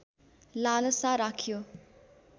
लालसा राख्यो